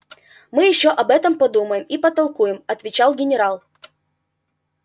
мы ещё об этом подумаем и потолкуем отвечал генерал